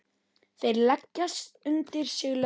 Þeir leggja undir sig löndin!